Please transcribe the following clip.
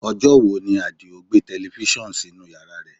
Ọjọ́ wo ni Adio gbé tẹlifísàn sínú yàrá rẹ̀?